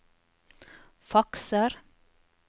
fakser